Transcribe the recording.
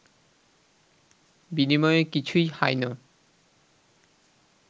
বিনিময়ে কিছুই হাই ন